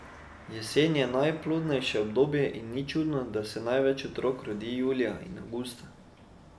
Jesen je najplodnejše obdobje in ni čudno, da se največ otrok rodi julija in avgusta.